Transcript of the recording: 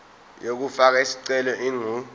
yokufaka isicelo ingu